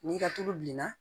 N'i ka tulu bilenna